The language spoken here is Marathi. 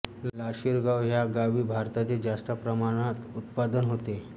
लाशीरगाव ह्या गावी भाताचे जास्त प्रमाणात उत्पादन होते